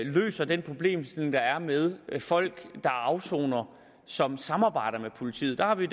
løser den problemstilling der er med folk der afsoner og som samarbejder med politiet der har vi